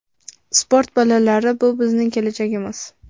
Sport bolalari bu bizning kelajagimiz!